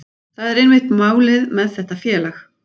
Það er einmitt málið með þetta félag.